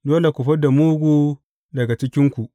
Dole ku fi da mugu daga cikinku.